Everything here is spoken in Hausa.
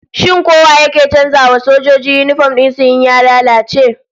Shin ko wa yake canza wa sojoji yinifom din su in ya lalace?